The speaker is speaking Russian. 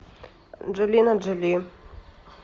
анджелина джоли